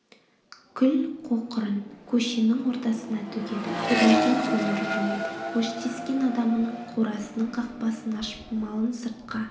күл-қоқырын көшенің ортасына төгеді біреуден көмір ұрлайды өштескен адамының қорасының қақпасын ашып малын сыртқа